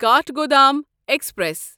Kathgodam express